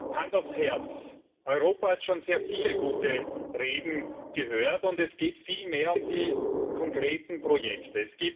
Aber Hand aufs Herz. Europa hat schon sehr viele gute Reden gehört, und es geht vielmehr um die konkreten Projekte.